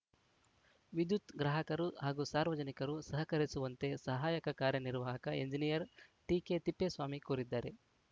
ವಿದ್ಯುತ್‌ ಗ್ರಾಹಕರು ಹಾಗೂ ಸಾರ್ವಜನಿಕರು ಸಹಕರಿಸುವಂತೆ ಸಹಾಯಕ ಕಾರ್ಯನಿರ್ವಾಹಕ ಎಂಜಿನಿಯರ್‌ ಟಿಕೆ ತಿಪ್ಪೇಸ್ವಾಮಿ ಕೋರಿದ್ದಾರೆ